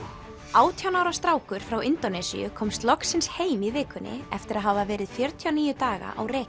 átján ára strákur frá Indónesíu komst loksins heim í vikunni eftir að hafa verið fjörutíu og níu daga á reki